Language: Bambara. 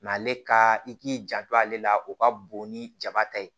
ale ka i k'i janto ale la o ka bon ni jaba ta ye